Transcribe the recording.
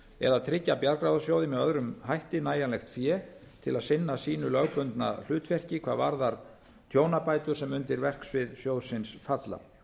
eða tryggja bjargráðasjóði með öðrum hætti nægjanlegt fé til að sinna sínu lögbundna hlutverki hvað varðar tjónabætur sem undir verksvið sjóðsins falla